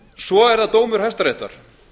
svo er það dómur hæstaréttar